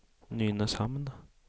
Nynäshamn